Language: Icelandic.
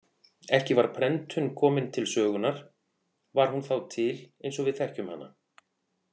Ekki var prentun kominn til sögunar var hún þá til eins og við þekkjum hana.